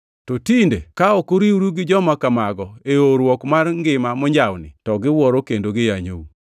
To tinde ka ok uriwru gi joma kamago e oowruok mar ngima monjawni, to giwuoro kendo giyanyou.